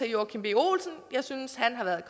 joachim b olsen jeg synes han har været